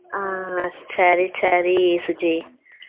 ஹம் சரி சரி சுஜி